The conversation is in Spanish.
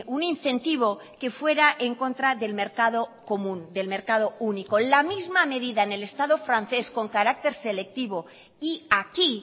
un incentivo que fuera en contra del mercado común del mercado único la misma medida en el estado francés con carácter selectivo y aquí